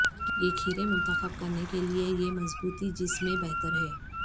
یہ کھیرے منتخب کرنے کے لئے یہ مضبوطی جس میں بہتر ہے